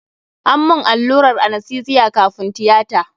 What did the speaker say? An mun allurar anastesiya kafun tiyata.